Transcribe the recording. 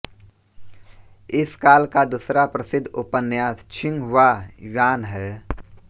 इस काल का दूसरा प्रसिद्ध उपन्यास छिंग ह्वा य्वान् है